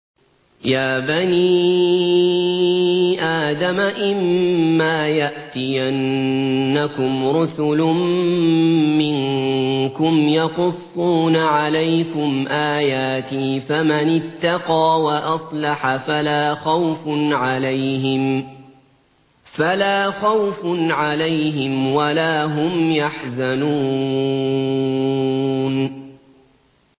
يَا بَنِي آدَمَ إِمَّا يَأْتِيَنَّكُمْ رُسُلٌ مِّنكُمْ يَقُصُّونَ عَلَيْكُمْ آيَاتِي ۙ فَمَنِ اتَّقَىٰ وَأَصْلَحَ فَلَا خَوْفٌ عَلَيْهِمْ وَلَا هُمْ يَحْزَنُونَ